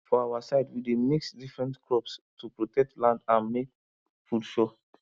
for our side we dey mix different crops to protect land and make food sure